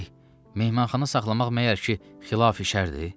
Bəy, mehmanxana saxlamaq məyər ki, xilaf-i şərdir?